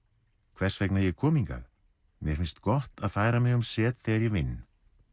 hvers vegna ég kom hingað mér finnst gott að færa mig um set þegar ég vinn